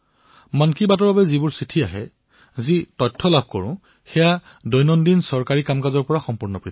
মন কী বাতৰ বাবে যি চিঠি আহে যি ইনপুট লাভ কৰো সেয়া দৈনন্দিন চৰকাৰী কামতকৈ অনেক ভিন্ন